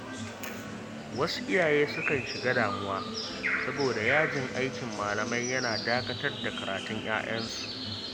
Wasu iyaye sukan shiga damuwa saboda yajin aikin malamai yana dakatar da karatun ‘ya’yansu.